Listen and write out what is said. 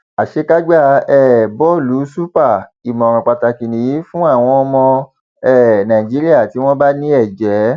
àṣekágbá um bọọlù super ìmọràn pàtàkì nìyí fún àwọn ọmọ um nàìjíríà tí wọn bá ní ẹjẹ